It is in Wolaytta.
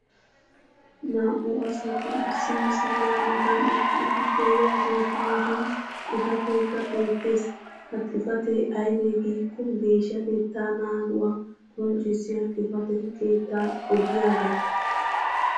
Naa'u asati issi misilliya matan eqqidi diyaageetu matan xifateekka beetees. ha xifatee aybee giikko geeshshatettaa naaguwa qonccissiya xifate keettaa oddiyaagaa.